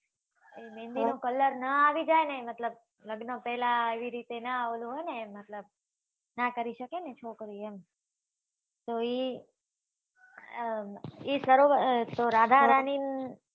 એ મહેંદી નો કલર નાં આવી જાય ને મતલબ લગ્ન પહેલા નાં હોય ઓલું નાં હોય એ મતલબ નાં કરી શકે ને છોકરી એમ તો એ એ સરોવર